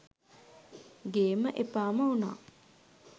ගේම එපාම උනා